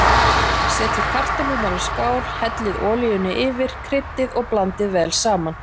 Setjið kartöflurnar í skál, hellið olíunni yfir, kryddið og blandið vel saman.